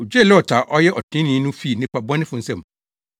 Ogyee Lot a ɔyɛ ɔtreneeni no fii nnipa nnebɔneyɛfo nsam.